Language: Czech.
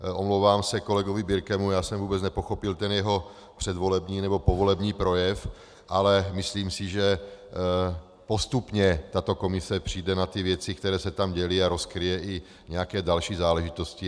Omlouvám se kolegovi Birkemu, já jsem vůbec nepochopil ten jeho předvolební nebo povolební projev, ale myslím si, že postupně tato komise přijde na ty věci, které se tam děly, a rozkryje i nějaké další záležitosti.